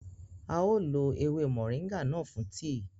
A ó lo ewé moringa náà fún tíì